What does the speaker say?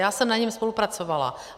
Já jsem na něm spolupracovala.